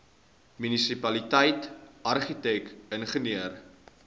munisipaliteit argitek ingenieur